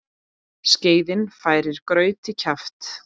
Skeiðin færir graut í kjaft.